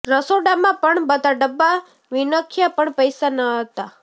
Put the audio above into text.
રસોડામાં પણ બધા ડબ્બા વિન્ખ્યા પણ પૈસા જ નહોતા